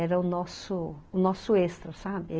Era o nosso, nosso extra, sabe?